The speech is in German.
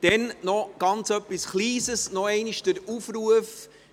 Dann noch etwas ganz Kleines, noch einmal dieser Aufruf.